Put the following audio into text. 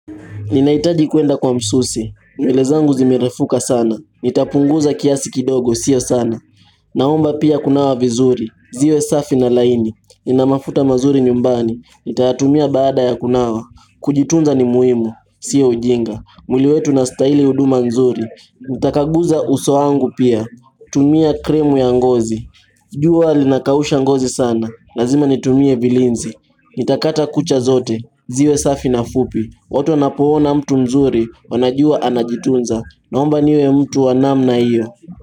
Ninaitaji kwenda kwa msusi, nywele zangu zimerefuka sana, nitapunguza kiasi kidogo, sio sana Naomba pia kunawa vizuri, ziwe safi na laini, nina mafuta mazuri nyumbani, nitatumia bada ya kunawa Kujitunza ni muhimu, sio ujinga, mwili wetu unastahili huduma nzuri, nitakaguza uso wangu pia, kutumia cream ya ngozi jua linakausha ngozi sana, lazima nitumie vilinzi, nitakata kucha zote, ziwe safi na fupi watu wanapoona mtu mzuri wanajua anajitunza Naomba niwe mtu wa namna hiyo.